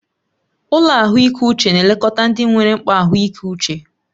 Ụlọ ahụike uche na-elekọta ndị nwere mkpa ahụike uche.